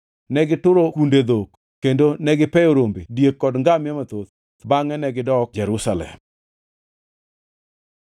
Negituro kunde dhok kendo negipeyo rombe, diek kod ngamia mathoth bangʼe negidok Jerusalem.